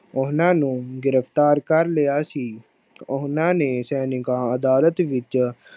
ਉਹਨਾਂ ਨੂੰ ਗ੍ਰਿਫ਼ਤਾਰ ਕਰ ਲਿਆ ਸੀ, ਉਹਨਾਂ ਨੇ ਸੈਨਿਕਾਂ ਅਦਾਲਤ ਵਿੱਚ